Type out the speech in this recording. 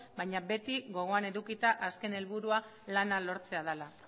baina beti gogoan edukita azken helburua lana lortzea dela